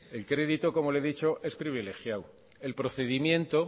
el crédito como le he dicho es privilegiado el procedimiento